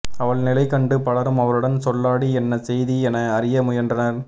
அவள் நிலை கண்டு பலரும் அவருடன் சொல்லாடி என்ன செய்தி என அறிய முயன்றனர்